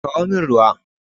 Kawo min ruwa!